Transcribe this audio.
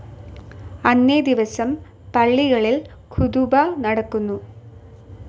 അന്നേ ദിവസം പള്ളികളിൽ ഖുതുബ നടക്കുന്നു.